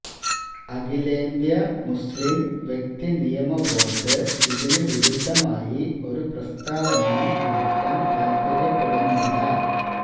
അഖിലേന്ത്യാ മുസ്ലിം വ്യക്തി നിയമ ബോര്ഡ് ഇതിനു വിരുദ്ധമായി ഒരു പ്രസ്താവനയും നടത്താന് താല്പര്യപ്പെടുന്നില്ല